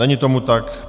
Není tomu tak.